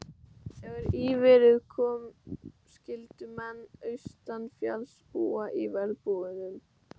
Þegar í verið kom skyldu menn austanfjalls búa í verbúðum.